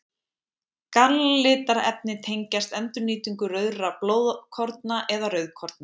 Galllitarefni tengjast endurnýtingu rauðra blóðkorna eða rauðkorna.